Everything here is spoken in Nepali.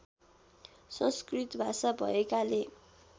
संस्कृत भाषा भएकाले